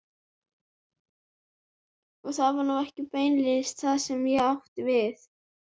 Það var nú ekki beinlínis það sem ég átti við.